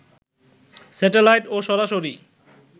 satellite ও সরাসরি